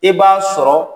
I b'a sɔrɔ